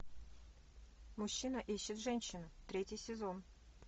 мужчина ищет женщину третий сезон